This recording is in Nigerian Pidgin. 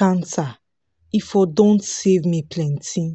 cancer e for don save me plenty